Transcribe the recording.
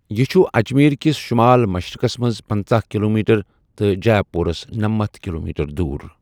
یہِ چُھ اَجمیٖرکِس شُمال مَشرِقَس مَنٛز پٕنژھٕ کِلومیٖٹَر تہٕ جیہ پورَس نٔمتھَ کِلو میٖٹَر دوٗر